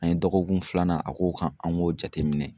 An ye dɔgɔkun filanan a k'o kan an k'o jateminɛ.